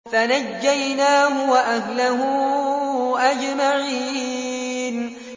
فَنَجَّيْنَاهُ وَأَهْلَهُ أَجْمَعِينَ